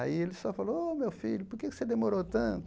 Aí ele só falou, ô, meu filho, por que você demorou tanto?